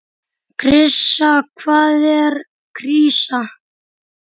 Krísa, hvað er krísa?